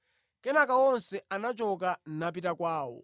Kenaka onse anachoka, napita kwawo.